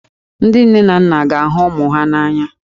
Ndị nne na nna ga-ahụ ụmụ ha n'anya.